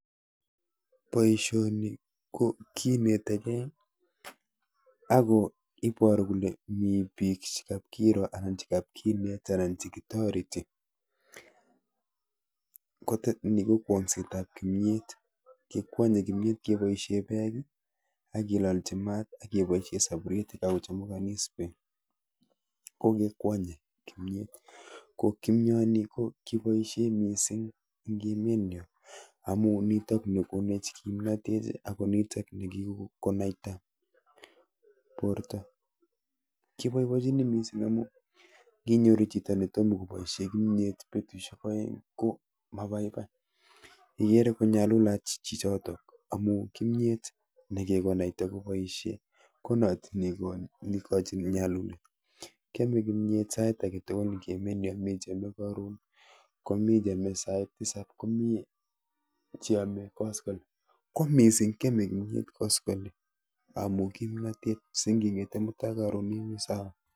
Boishoni ko kinetekei ako iporu kole mi biik chekapkiro anan chekapkenet anan chekitoreti. Ni ko kwong'setap kimyet, kikwonye kimyet keboishe beek akelolchi mat akeboishe saburyet yekakochumukanis beek ko kekwonye kimyet. Ko kimyoni ko keboishe mising eng emenyo amu nitok nekonech kimnotet ako nitok nekikonaita borto. Kiboibochini mising amu nginyoru chito ne tom koboishe kimyet betushek oeng ko mabaibai, ikere konyalulat chichotok amu kimyet nekikonaita koboishe ko not neikochin nyalulet. Kyome kimyet sait aketugul eng emenyo, mi cheome karon, komi cheome sait tisap, komi cheome koskolen, ko mising keome kimyet koskolen amu kimnotet si nging'ete mutai karon imi sawa.